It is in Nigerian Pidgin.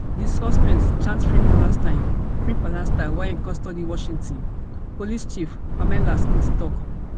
di suspect chant free palestine free palestine while in custody washington police chief pamela smith tok